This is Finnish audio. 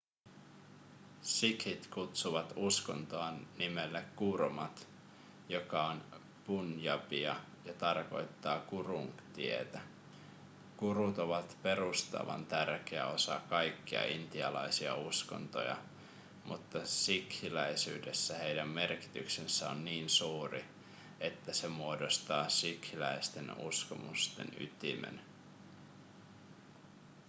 sikhit kutsuvat uskontoaan nimellä gurmat joka on punjabia ja tarkoittaa gurun tietä gurut ovat perustavan tärkeä osa kaikkia intialaisia uskontoja mutta sikhiläisyydessä heidän merkityksensä on niin suuri että se muodostaa sikhiläisten uskomusten ytimen